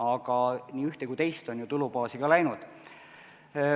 Aga nii ühte kui ka teist on ju tulubaasi ka läinud.